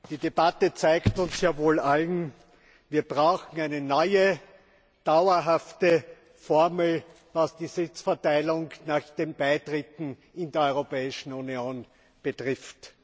Die Debatte zeigt uns wohl allen Wir brauchen eine neue, dauerhafte Formel, was die Sitzverteilung nach den Beitritten zur Europäischen Union betrifft.